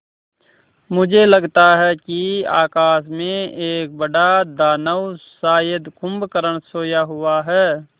मुझे लगता है कि आकाश में एक बड़ा दानव शायद कुंभकर्ण सोया हुआ है